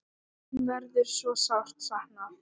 Þín verður svo sárt saknað.